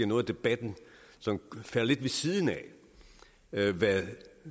noget af debatten falder lidt ved siden af hvad